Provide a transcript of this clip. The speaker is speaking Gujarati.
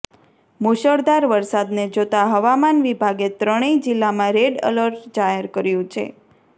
મુશળધાર વરસાદને જોતા હવામાન વિભાગે ત્રણેય જિલ્લામાં રેડ એલર્ટ જાહેર કર્યું છે